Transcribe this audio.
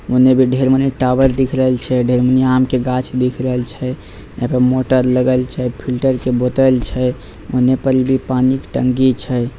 ओने भी ढेर मनी टॉवर दिख रहल छै ढेर मनी आम के गाछ दिख रहल छै यहां पर मोटर लगल छै फिल्टर के बोतल छै ओने पर भी पानी के टंकी छै।